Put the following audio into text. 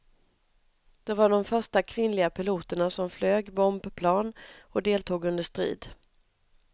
De var de första kvinnliga piloterna som flög bombplan och deltog under strid.